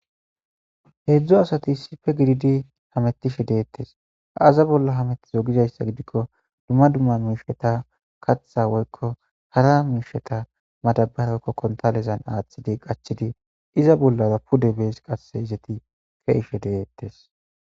Heedzdzu asati issippe gididi hamettishe deettes. Aaza bolla hamettizo gizayssa gidikko dumma dumma miishshata k kaththa woykko hara hara miishshata madaabara woykko kontaaleza giddon aaththi qachchidi iza bollara pude bees qasse izeti deettes.